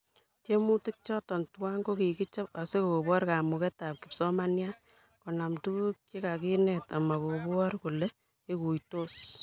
Tiemutik choto tuwai ko kikichob asikobor kamuketab kipsomaniat konam tuguuk che kakinet ama kobor kole ikuitos